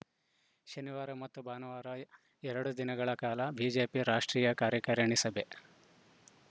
ಶನಿವಾರ ಮತ್ತು ಭಾನುವಾರ ಎರಡು ದಿನಗಳ ಕಾಲ ಬಿಜೆಪಿ ರಾಷ್ಟ್ರೀಯ ಕಾರ್ಯಕಾರಿಣಿ ಸಭೆ